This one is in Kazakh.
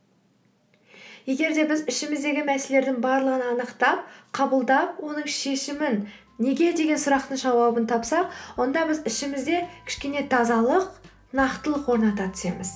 егер де біз ішіміздегі мәселелердің барлығын анықтап қабылдап оның шешімін неге деген сұрақтың жауабын тапсақ онда біз ішімізде кішкене тазалық нақтылық орната түсеміз